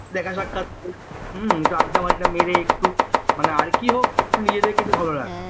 দেখা যাক একটু আড্ডা মাড্ডা মেরে একটু মানে আর কি হোক একটু নিজেকে ভালো লাগে